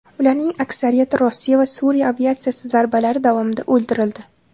Ularning aksariyati Rossiya va Suriya aviatsiyasi zarbalari davomida o‘ldirildi.